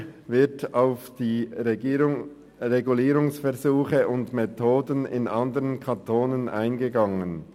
Weiter wird auf die Regulierungsversuche und -methoden anderer Kantone eingegangen.